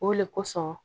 O le kosɔn